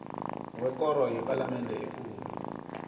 wekoro yepalamende ekulu